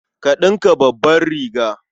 Ka ɗinka babbar riga.